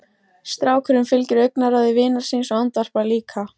Strákurinn fylgir augnaráði vinar síns og andvarpar líka.